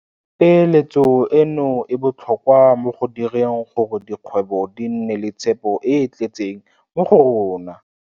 Peeletso eno e botlhokwa mo go direng gore dikgwebo di nne le tshepo e e tletseng mo go rona.